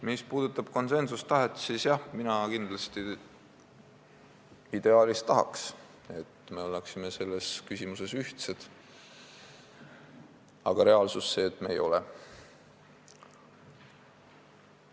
Mis puudutab konsensustahet, siis mina kindlasti ideaalis tahaks, et me oleksime selles küsimuses ühtsed, aga reaalsus on see, et me ei ole.